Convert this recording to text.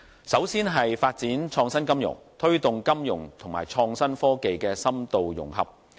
首先是發展創新金融，推動金融與創新科技的深度融合。